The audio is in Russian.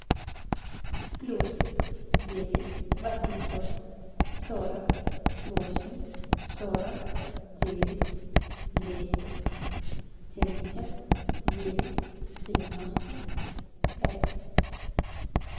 плюс девять восемьсот сорок восемь сорок девять двести семьдесят девять девяносто пять